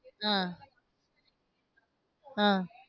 அஹ் ஆஹ்